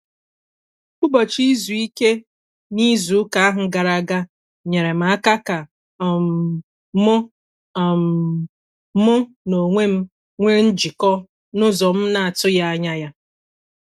Ụbọchị izu ike na izu ụka ahụ gara aga nyeere m aka ka um mụ um mụ na onwe m nwee njikọ n'ụzọ m na-atụghị anya ya.